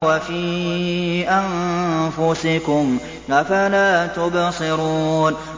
وَفِي أَنفُسِكُمْ ۚ أَفَلَا تُبْصِرُونَ